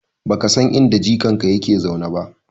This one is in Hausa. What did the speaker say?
Baka san inda jikanka yake zaune ba?